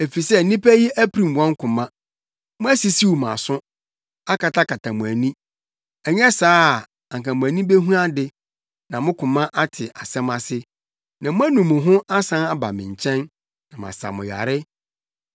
efisɛ nnipa yi apirim wɔn koma; moasisiw mo aso, akatakata mo ani. Ɛnyɛ saa a, anka mo ani behu ade, na mo koma ate asɛm ase, na moanu mo ho asan aba me nkyɛn, na masa mo yare.”